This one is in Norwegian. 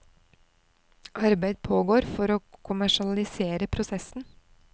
Arbeid pågår for å kommersialisere prosessen.